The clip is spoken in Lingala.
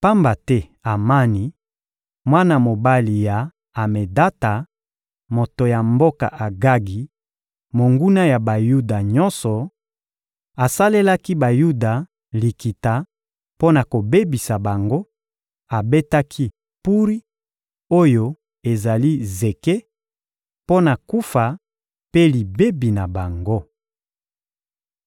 Pamba te Amani, mwana mobali ya Amedata, moto ya mboka Agagi, monguna ya Bayuda nyonso, asalelaki Bayuda likita mpo na kobebisa bango; abetaki Puri, oyo ezali «zeke,» mpo na kufa mpe libebi na bango.